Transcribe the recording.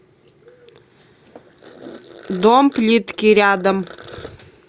дом плитки рядом